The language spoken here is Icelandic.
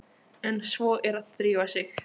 En svo er að drífa sig